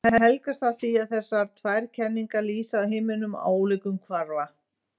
Það helgast af því að þessar tvær kenningar lýsa heiminum á ólíkum kvarða.